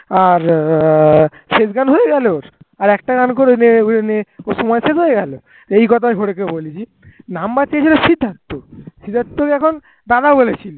আর শেষ গান হয়ে গেল আর একটা গান করেই বলে নে ওর সময় শেষ হয়ে গেল আর এই কোথায় হরেকে বলেছি number চেয়েছিল সিদ্ধার্থ সিদ্ধার্থকে এখন দাদা বলেছিল।